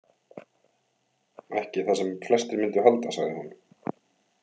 Ekki það sem flestir myndu halda, sagði hún.